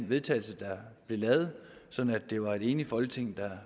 vedtagelse der blev lavet så det var et enigt folketing der